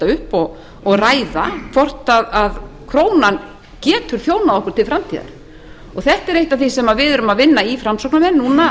upp og ræða hvort krónan getur þjónað okkur til framtíðar þetta er eitt af því sem við erum að vinna í framsóknarmenn núna